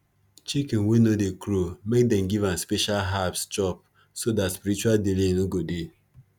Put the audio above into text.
chicken wey no dey crow make them give am special herbs chop so dat spiritual delay no go dey